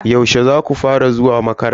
Yaushe zaku fara zuwa makaranta?